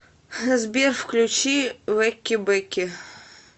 сбер включи вэки бэки